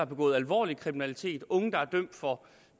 begået alvorlig kriminalitet unge der er dømt for